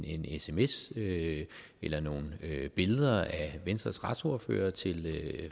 en sms eller nogle billeder af venstres retsordfører til